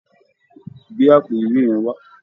Gbé àpò ìwé yẹn wá